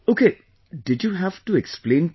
Okay...did you have to explain people